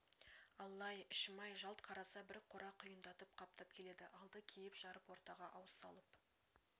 алла-ай ішім-ай жалт қараса бір қора құйындатып қаптап келеді алды киіп-жарып ортаға ауыз салып